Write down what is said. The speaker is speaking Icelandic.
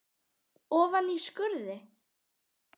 Ofan í skurði.